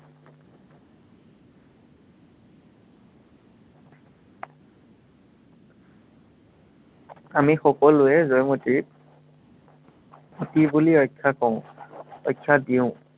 আমি সকলোৱে জয়মতীক সতী বুলি আখ্য়া কও, আখ্য়া দিও।